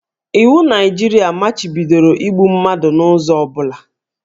Iwu Naijiria machibidoro igbu mmadụ n'ụzọ ọ bụla